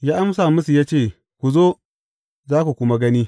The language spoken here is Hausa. Ya amsa musu ya ce, Ku zo, za ku kuma gani.